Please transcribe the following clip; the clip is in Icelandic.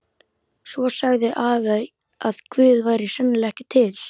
Svo sagði afi að Guð væri sennilega ekki til.